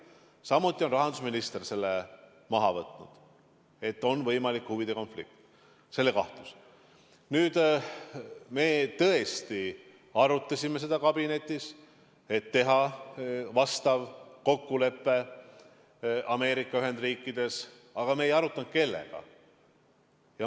Samuti on rahandusminister maha võtnud kahtluse, et on võimalik Me tõesti arutasime kabinetis, et tuleks teha vastav kokkulepe Ameerika Ühendriikides, aga me ei arutanud, kellega.